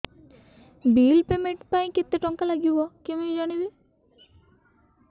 bill payment ପାଇଁ କେତେ କେତେ ଟଙ୍କା ଲାଗିବ କେମିତି ଜାଣିବି